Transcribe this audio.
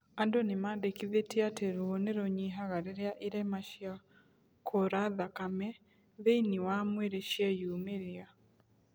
Andũ nĩmandĩkithĩtie atĩ ruo nĩrũnyihaga rĩrĩa irema cia kura thakame thĩiniĩ wa mwĩrĩ cieyumĩria